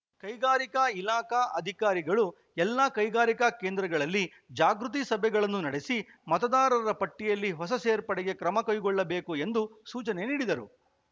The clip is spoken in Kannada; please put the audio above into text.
ಕೈಗಾರಿಕಾ ಇಲಾಖಾ ಅಧಿಕಾರಿಗಳು ಎಲ್ಲಾ ಕೈಗಾರಿಕಾ ಕೇಂದ್ರಗಳಲ್ಲಿ ಜಾಗೃತಿ ಸಭೆಗಳನ್ನು ನಡೆಸಿ ಮತದಾರರ ಪಟ್ಟಿಯಲ್ಲಿ ಹೊಸ ಸೇರ್ಪಡೆಗೆ ಕ್ರಮ ಕೈಗೊಳ್ಳಬೇಕು ಎಂದು ಸೂಚನೆ ನೀಡಿದರು